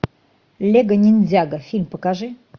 лего ниндзяго фильм покажи